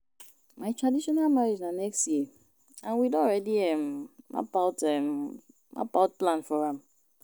My traditional marriage na next year and we don already um map out um map out plan for am